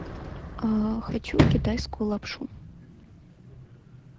хочу китайскую лапшу